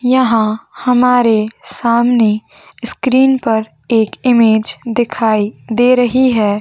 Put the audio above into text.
यहाँ हमारे सामने स्क्रीन पर एक इमेज दिखाई दे रही है।